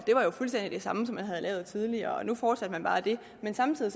jo var fuldstændig det samme som man havde lavet tidligere og nu fortsatte man bare det men samtidig